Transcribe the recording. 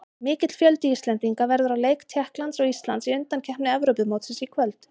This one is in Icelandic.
Mikill fjöldi Íslendinga verður á leik Tékklands og Íslands í undankeppni Evrópumótsins í kvöld.